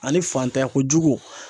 Ani fantanya ko jugu